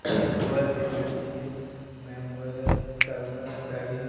ଭଲ ଦିସୁଚି ମ୍ୟମ ଗୁରା ସାଗୁଆ ଶାଢ଼ୀ।